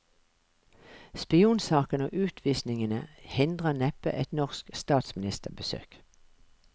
Spionsaken og utvisningene hindrer neppe et norsk statsministerbesøk.